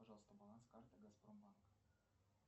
пожалуйста баланс карты газпром банк